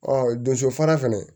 Ɔ donso fara fɛnɛ